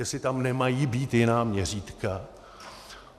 Jestli tam nemají být jiná měřítka.